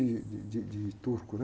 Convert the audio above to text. De, de, de turco, né?